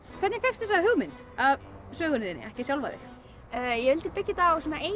hvernig fékkstu þessa hugmynd að sögunni þinni ekki sjálfa þig ég vildi byggja þetta á eigin